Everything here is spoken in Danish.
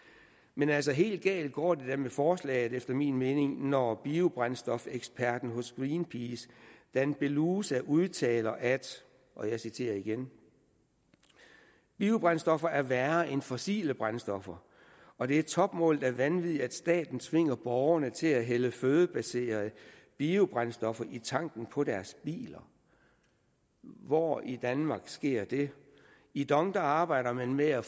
men altså helt galt går det da med forslaget efter min mening når biobrændstofeksperten hos greenpeace dan belusa udtaler at og jeg citerer igen biobrændstoffer er værre end fossile brændstoffer og det er topmålet af vanvid at staten tvinger borgerne til at hælde fødebaserede biobrændstoffer i tanken på deres biler hvor i danmark sker det i dong arbejder man med at